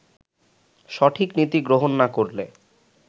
সঠিক নীতি গ্রহণ না করলে